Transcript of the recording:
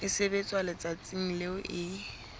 e sebetswa letsatsing leo e